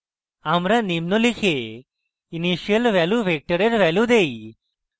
আমরা নিম্ন লিখে initial value vector value দেই